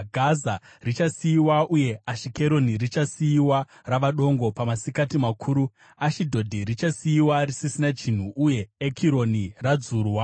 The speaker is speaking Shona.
Gaza richasiyiwa uye Ashikeroni richasiyiwa rava dongo. Pamasikati makuru Ashidhodhi richasiyiwa risisina chinhu uye Ekironi radzurwa.